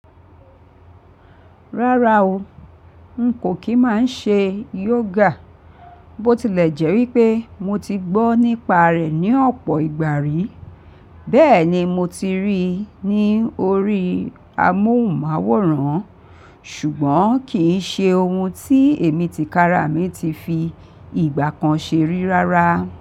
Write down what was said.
Rárá o, n kò kí máa ṣe yoga, bó tilẹ̀ jẹ́ wípé mo ti gbọ́ nípa rẹ̀ ní ọ̀pọ̀ ìgbà rí. Bẹ́ẹ̀ ni mo ti rí i ní orí amóhùnmáwòrán, ṣùgbọ́n kì ń ṣe ohun tí èmi tìkára mi ti fi ìgbà kan ṣeri rárá.